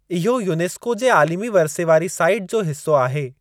इहो यूनेस्को जे आलिमी वर्से वारी साईट जो हिस्सो आहे।